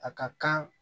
A ka kan